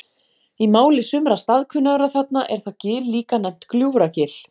Í máli sumra staðkunnugra þarna er það gil líka nefnt Gljúfragil.